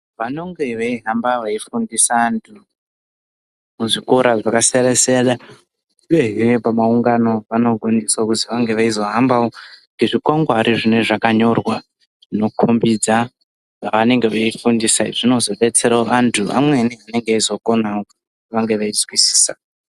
Vanonge veihamba veifundisa antu, muzvikora zvakasiyana-siyana, uyezve pamaungano vanokwanisa kuzenge veihambawo nezvikwangwari zvinee zvakanyorwa zvinokombidza zvavanenge veifundisa zvinozodetserawo vantu vamweni vanenge veizokonawo kunge veizwisisa.